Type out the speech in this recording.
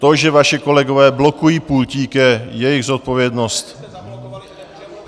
To, že vaši kolegové blokují pultík, je jejich zodpovědnost.